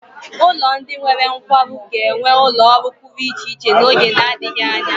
Ụlọ ndị nwere nkwarụ ga-enwe ụlọ ọrụ pụrụ iche n'oge na-adịghị anya.